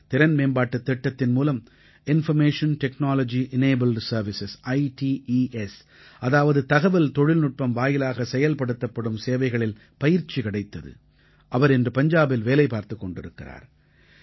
திறன் மேம்பாட்டுத் திட்டத்தின் மூலம் information technology enabled service ITES அதாவது தகவல் தொழில்நுட்பம் வாயிலாகச் செயல்படுத்தப்படும் சேவைகளில் பயிற்சி கிடைத்தது அவர் இன்று பஞ்சாபில் வேலை பார்த்துக் கொண்டிருக்கிறார்